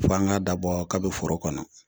Fo an k'a dabɔ kabi foro kɔnɔ